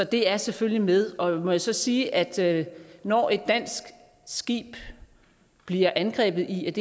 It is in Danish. det er selvfølgelig med må jeg så sige at når et dansk skib bliver angrebet i